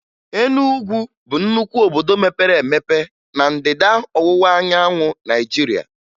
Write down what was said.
Enugwu bụ nnukwu obodo mepere emepe na Ndịda Ọwụwaanyanwụ Naịjirịa